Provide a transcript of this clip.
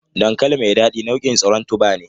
Dankali mai dadi nau'in tsiron tuba ne.